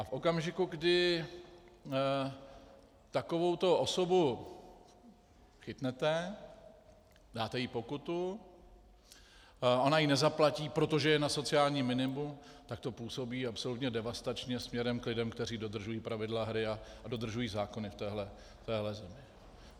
A v okamžiku, kdy takovouto osobu chytnete, dáte jí pokutu, ona ji nezaplatí, protože je na sociálním minimu, tak to působí absolutně devastačně směrem k lidem, kteří dodržují pravidla hry a dodržují zákony v této zemi.